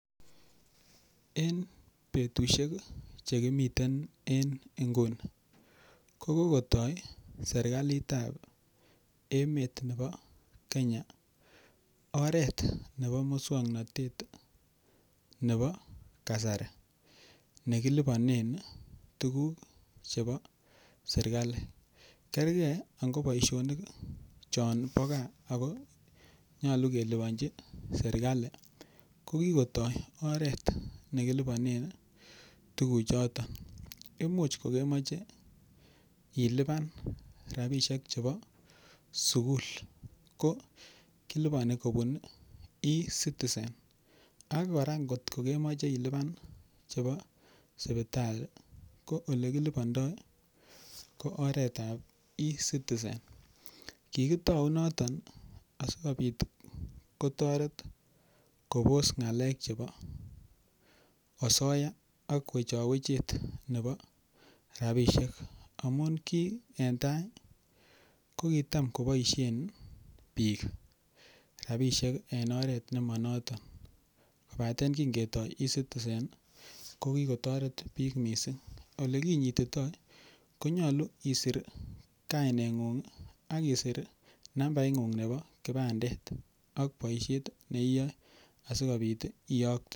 En betusiek che kimiten en nguni ko kogotoi serkalit ab emet nebo Kenya oret nebo muswaknatet nebo kasari nekiliponen tuguk chebo serkalit. Kerge ango ko boisionik chon bo gaa ago nyolu keliponchi serkalit, ko kigotoi oret ne kiliponen tuguchoto. Imuch kogemoche ilipan rabishek chebo sugul. Ko kiliponi kobun E-Citizen ak kora ngot ko kemoche ilipan chebo sipitali ko kora ole kilipondo ko oret ab E-Citizen. Kigitou noton asikobit kotoret kobos ng'alek chebo osoya ak wechowechet nebo rabishek. amun kiy en tai ko kitam koboisien biik rabiseik en oret nemanoton. Kobate kingetoi E-Citizen kokigotoret biik mising. Ole kinyitito ko nyolu isir kaineng'ung ak isir nambaing'ung nebo kipandet ak boisiet ne iyae asikobit iyokte.